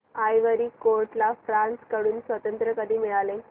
ivory Coast ला France कडून स्वातंत्र्य कधी मिळाले